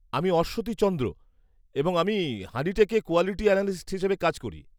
আমি অশ্বতী চন্দ্র, এবং আমি হানিটেকে কোয়ালিটি অ্যানালিস্ট হিসেবে কাজ করি।